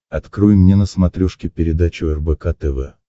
открой мне на смотрешке передачу рбк тв